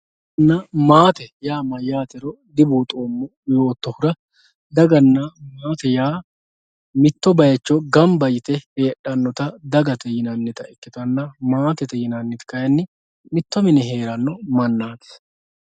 Daganna Maate yaa mayyate dibuuxoommo yoottotera daganna maate yaa mitto bayicho gamba yte heedhanotta dagate yinannitta ikkittanna maatete yinanniti kayinni mitto mine heerano mannati.